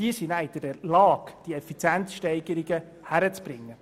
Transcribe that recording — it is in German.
Diese Leute sind dann in der Lage, diese Effizienzsteigerung hinzubekommen.